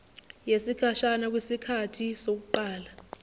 yesikhashana kwisikhathi sokuqala